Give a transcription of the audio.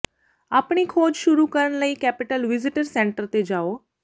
ਆਪਣੀ ਖੋਜ ਸ਼ੁਰੂ ਕਰਨ ਲਈ ਕੈਪੀਟਲ ਵਿਜ਼ਟਰ ਸੈਂਟਰ ਤੇ ਜਾਓ